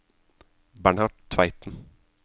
Bernhard Tveiten